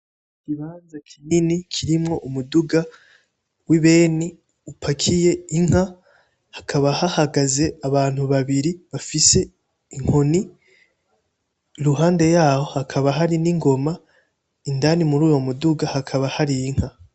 Ikibanza kinini kirimwo umuduga w'ibeni upakiye inka, hakaba hahagaze abantu babiri bafise inkoni, iruhande yaho haka hari n'ingoma, indani muruyo muduga hakaba hari inka.